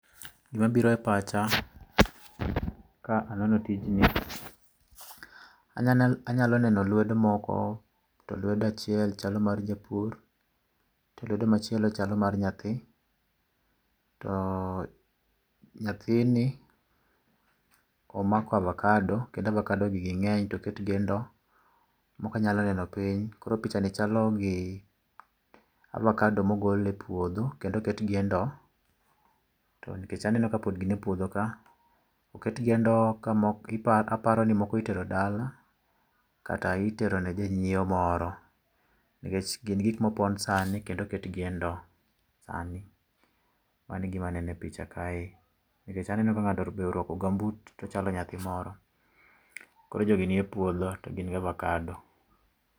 Gima biro e pacha ka aneno tijni, anyal anyalo neno lwedo moko. To lwedo achiel chalo mar japur, to lwedo machielo chalo mar nyathi. To nyathini omako avokado, kendo avokado gi ging'eny to oketgi e ndoo, moko anyalo neno piny koro pichani chalo gi avokado mogol e puodho kendo oketgi e ndoo. To aneno ni pod gin epuodho ka. Oketgi e ndoo kendo aparo ni moko itero dala, kata itero ne jonyiewo moro. Nikech gin gik mopon sani kendo oketgi e ndoo sani. Mano e gima aneno e picha. Nikech aneno ka ng'ato oruako gambut to chalo nyathi moro koro jogi nie puodho to gin gi avokado.